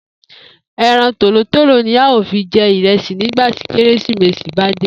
E̩ran tòlótòló ni a óò fi je̩ ìre̩sì nígbà tí Kérésìmesì bá dé